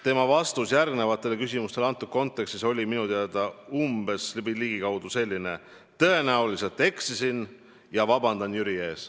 Tema vastus järgmistele küsimustele selles kontekstis oli minu teada umbes selline: "Tõenäoliselt ma eksisin ja vabandan Jüri ees."